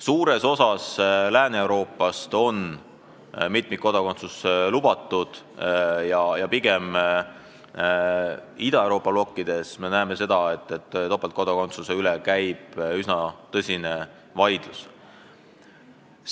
Suures osas Lääne-Euroopast on mitmikkodakondsus lubatud ja pigem Ida-Euroopas käib selle üle üsna tõsine vaidlus.